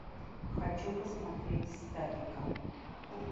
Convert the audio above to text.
хочу посмотреть статика